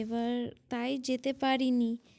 এবার তাই যেতে পারি নি।